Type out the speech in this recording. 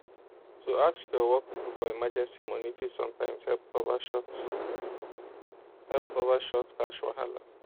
to ask your work people for emergency money fit sometimes help cover short help cover short cash wahala